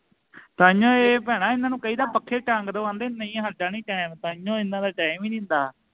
ਤਾਹੀਓਂ ਇਹ ਭੈਣਾਂ ਇਹਨਾਂ ਨੂੰ ਕਹੀ ਦਾ ਪੱਖੇ ਟੰਗ ਦੋ ਆਂਦੇ ਨਹੀਂ ਹਾਡਾ ਨਹੀਂ time ਤਾਹੀਓਂ ਇਹਨਾਂ ਦਾ time ਈ ਨਹੀਂ ਹੰਦਾ